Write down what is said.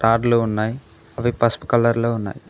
రాడ్లు ఉన్నాయి అవి పసుపు కలర్లో ఉన్నాయి.